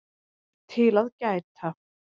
TIL AÐ GÆTA